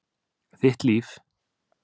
Þitt líf.